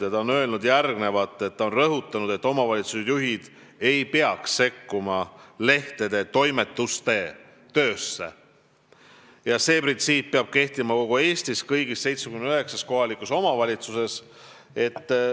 Ta on rõhutanud, et omavalitsusjuhid ei peaks sekkuma lehtede toimetuste töösse ja see printsiip peab kehtima kogu Eestis, kõigis 79 kohalikus omavalitsuses.